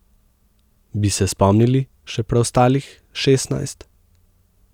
Bi se spomnili še preostalih šestnajst?